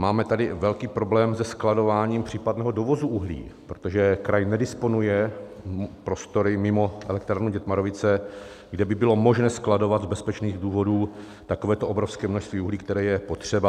Máme tady velký problém se skladováním případného dovozu uhlí, protože kraj nedisponuje prostory mimo elektrárnu Dětmarovice, kde by bylo možné skladovat z bezpečných důvodů takovéto obrovské množství uhlí, které je potřeba.